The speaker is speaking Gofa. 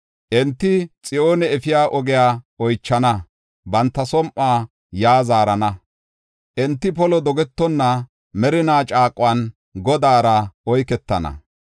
Enti Xiyoone efiya ogiya oychana; banta som7uwa yaa zaarana. Enti, polo dogetonna merina caaquwan Godaara” oyketana.